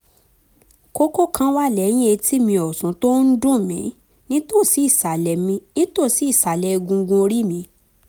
kókó kan wà lẹ́yìn etí mi ọ̀tún tó ń duùn mí nítòsí ìsàlẹ̀ mí nítòsí ìsàlẹ̀ egungun orí mi